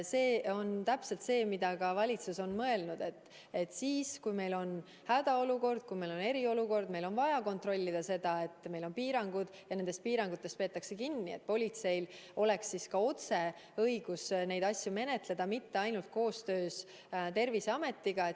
See on täpselt see, mida ka valitsus on mõelnud: kui meil on hädaolukord, kui meil on eriolukord ning meil on vaja kontrollida, kas piirangutest peetakse kinni, siis politseil peab olema õigus neid asju ise menetleda, mitte ainult koostöös Terviseametiga.